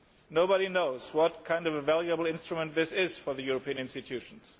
Nobody knows what a valuable instrument this is for the European institutions.